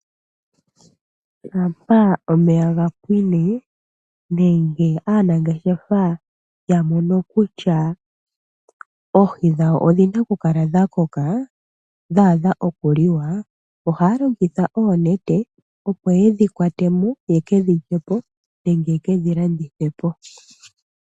Shampa omeya ga pwine nenge aanangeshefa ya mono kutya oohi dhawo odhina kukala dha koka dha adha okuliwa, ohaya longitha oonete opo yedhi kwatemo ye kedhi lyepo nenge ye kedhi landithepo.